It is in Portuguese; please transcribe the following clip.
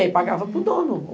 E aí pagava para o dono.